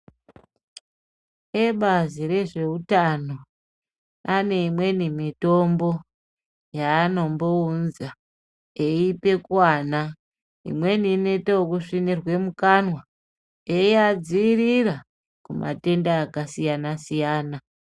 Ebazi rezveutano ane imweni mitombo yeanombounza eipe kuana imweni inoite ekusvinirwe mumukanwa eiadziirira kumatenda akasiyana siyana.